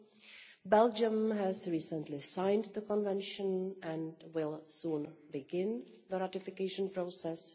and Belgium has recently signed the Convention and will soon begin the ratification process.